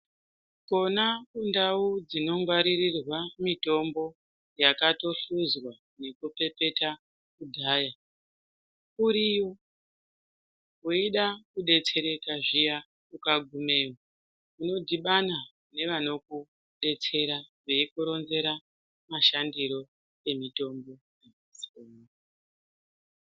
Kona kundau dzinogwaririrwa mitombo yakatohluzwa nekupepeta kudhaya uriyo weida kudetsereka zviya ukagumeyo unodhibana nevanokudetsera veikuronzera mashandiro emitombo.